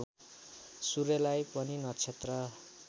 सूर्यलाई पनि नक्षत्र